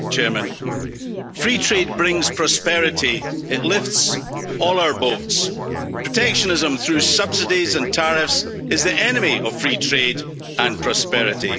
Mr President, free trade brings prosperity it lifts all our boats. Protectionism through subsidies and tariffs is the enemy of free trade and prosperity.